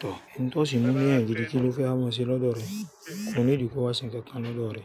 Tọ̀, èmi tó sì mu l'eyàn gidi kí ló fẹ́ máa ṣe lọ́dọ̀ rẹ? Kò need kó wa ṣe nǹkan lọ́dọ̀ rẹ.